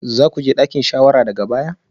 Za ku je dakin shawara daga baya?